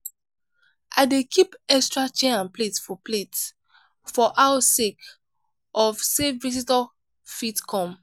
i dey keep extra chair and plate for plate for house sake of sey visitor fit come.